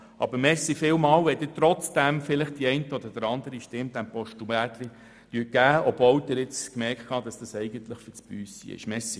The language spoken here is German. Ich danke Ihnen vielmals, wenn Sie diesem «Postulätli» trotzdem die eine oder andere Stimme geben, auch wenn Sie gemerkt haben, dass es eigentlich «fürs Büssi» ist.